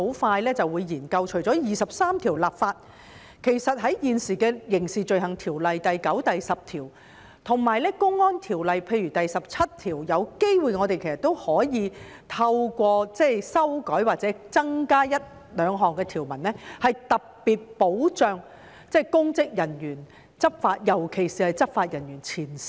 其實，除了第二十三條立法外，現時的《刑事罪行條例》第9及10條，以及《公安條例》譬如第17條，都有機會可以透過修改或增加一兩項條文，特別保障公職人員，尤其是前線執法人員。